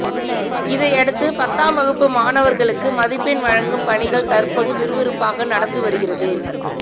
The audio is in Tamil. இதையடுத்து பத்தாம் வகுப்பு மாணவர்களுக்கு மதிப்பெண் வழங்கும் பணிகள் தற்போது விறுவிறுப்பாக நடந்து வருகிறது